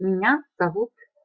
меня зовут